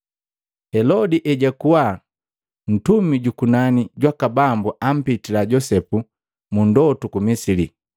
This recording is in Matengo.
Helodi ejakuwa, ntumi juku nani jwaka Bambu ampitila Josepu mu ndotu ku Misili,